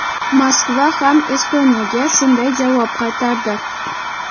Moskva ham Estoniyaga shunday javob qaytardi.